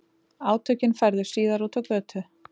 Átökin færðust síðar út á götu